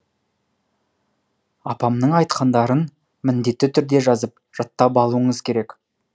апамның айтқандарын міндетті түрде жазып жаттап алуыңыз керек